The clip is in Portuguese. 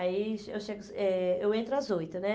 Aí che eu chego eh eu entro às oito, né?